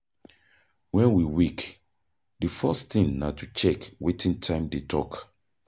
When we wake, di first thing na to check wetin time dey talk